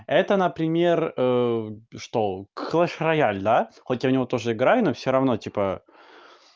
это например что клэш рояль да хоть я в него тоже играю но всё равно типа